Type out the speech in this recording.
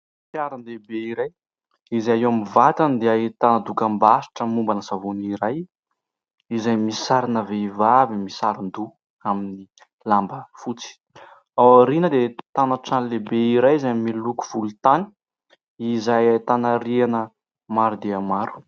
Fiara lehibe iray izay eo amin'ny vatany dia ahitana dokam-barotra momba ny savony iray, izay misy sarina vehivavy misaron-doha amin'ny lamba fotsy. Ao aoriana dia ahitana trano lehibe iray izay miloko volontany izay ahitana rihana maro dia maro.